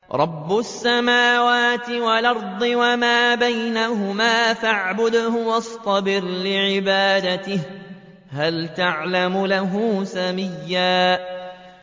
رَّبُّ السَّمَاوَاتِ وَالْأَرْضِ وَمَا بَيْنَهُمَا فَاعْبُدْهُ وَاصْطَبِرْ لِعِبَادَتِهِ ۚ هَلْ تَعْلَمُ لَهُ سَمِيًّا